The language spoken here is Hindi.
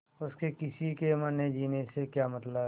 उसे किसी के मरनेजीने से क्या मतलब